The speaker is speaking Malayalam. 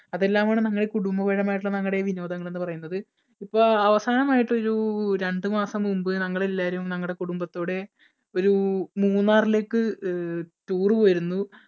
അതെല്ലാമാണ് നങ്ങടെ കുടുംബപരമായിട്ടുള്ള നങ്ങടെ വിനോദങ്ങൾ എന്ന് പറയുന്നത്. ഇപ്പോ അവസാനമായിട്ട് ഒരു രണ്ടുമാസം മുമ്പ് ഞങ്ങൾ എല്ലാവരും ഞങ്ങളുടെ കുടുംബത്തോടെ ഒരു മൂന്നാറിലേക്ക് അഹ് tour പോയിരുന്നു.